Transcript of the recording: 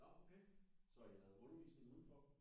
Nå okay så I havde undervisning udenfor?